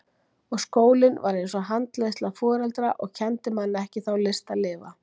Og skólinn var eins og handleiðsla foreldra og kenndi manni ekki þá list að lifa.